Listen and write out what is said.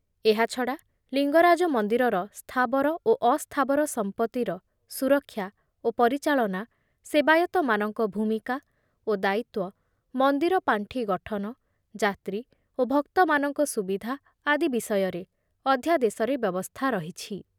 ଏହାଛଡ଼ା ଲିଙ୍ଗରାଜ ମନ୍ଦିରର ସ୍ଥାବର ଓ ଅସ୍ଥାବର ସମ୍ପତ୍ତିର ସୁରକ୍ଷା ଓ ପରିଚାଳନା, ସେବାୟତମାନଙ୍କ ଭୂମିକା ଓ ଦାୟିତ୍ୱ, ମନ୍ଦିର ପାଣ୍ଠି ଗଠନ, ଯାତ୍ରୀ ଓ ଭକ୍ତମାନଙ୍କ ସୁବିଧା ଆଦି ବିଷୟରେ ଅଧ୍ୟାଦେଶରେ ବ୍ୟବସ୍ଥା ରହିଛି।